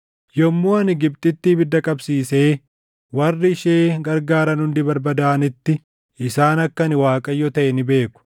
Yommuu ani Gibxitti ibidda qabsiisee warri ishee gargaaran hundi barbadaaʼanitti, isaan akka ani Waaqayyo taʼe ni beeku.